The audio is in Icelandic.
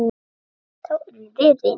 Þá urðum við vinir.